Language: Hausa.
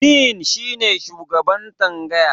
"Dean" shi ne shugaban tsangaya.